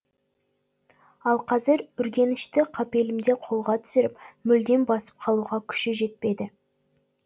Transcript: ал қазір үргенішті қапелімде қолға түсіріп мүлдем басып қалуға күші жетпеді